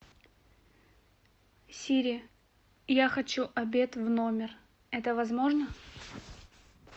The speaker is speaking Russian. сири я хочу обед в номер это возможно